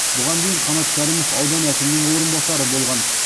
бұған дейін қанат кәрімов аудан әкімінің орынбасары болған